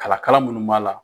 Kala kala minnu b'a la